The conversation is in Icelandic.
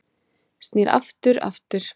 Snýr aftur aftur